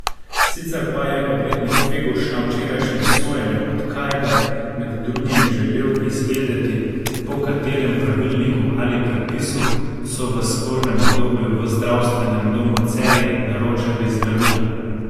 Sicer pa je odvetnik Feguš na včerajšnjem sojenju od Kajbe med drugim želel izvedeti, po katerem pravilniku ali predpisu so v spornem obdobju v Zdravstvenem domu Celje naročali zdravila.